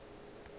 be ba šetše ba le